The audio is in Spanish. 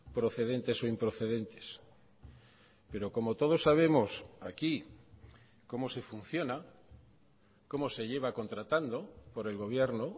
procedentes o improcedentes pero como todos sabemos aquí cómo se funciona cómo se lleva contratando por el gobierno